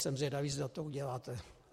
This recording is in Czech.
Jsem zvědavý, zda to uděláte.